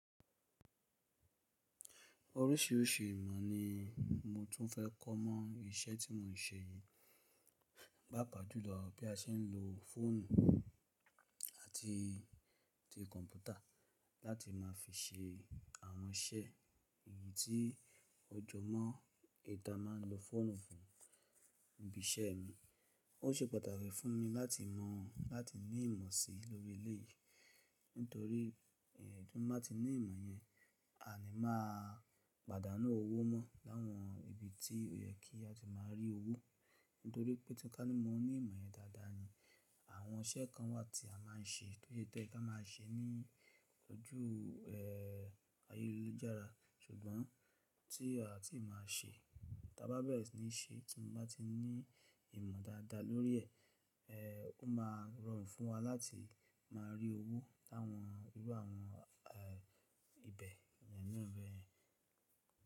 Oríṣiríṣi ìmọ̀ ni mo tún fẹ́ kọ́ mọ́ iṣẹ́ tí mò ń ṣe yìí, pàpa júlọ bí a ṣe ń lo fóònù àti tí kọ̀ǹpútà láti má fi ṣe àwọn iṣẹ́ eyì tí o jo mó eyì ta má ń lo fóònù fún. Ìbí iṣẹ́ mi, ó ṣe pàtàkì fún mi láti mọ̀ láti ní ìmọ̀ sí lórí eleyìí nítorí tí mo bá ti ní ìmọ̀ yẹn, a ni máa pàdánù owó mọ́ láwọn ibi tí ó yẹ kí a tó máa rí owó nítorí pé ti tá ní mo ní ìmọ̀ yẹn dáadáa ni àwọn iṣẹ́ kan wà tí a má ń ṣe, tòyẹ́ toye ká máa ń ṣe ní ojú, ẹ́ẹ́, ayélujára ṣùgbọ́n tí a ò tí ì máa ṣe, tí a bá bẹ̀rẹ̀ sí ní ṣe tí mo bá ti ní ìmọ̀ dáadáa lórí ẹ̀, ẹ́ẹ́, ó máa rọrùn fún wa láti má rí owó láwọn irú àwọn, ẹ́ẹ́, ibẹ̀ yẹn náà bẹ́ẹ̀.